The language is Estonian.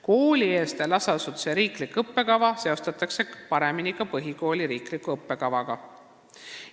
Koolieelse lasteasutuse riiklik õppekava seostatakse paremini põhikooli riikliku õppekavaga.